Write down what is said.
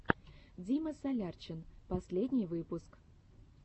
дима солярчин последний выпуск